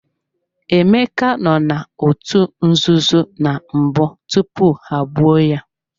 Emeka no n'otu nzuzo na mbụ tupu ha-egbuo ya.